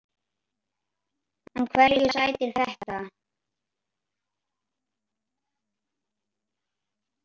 En hverju sætir þetta?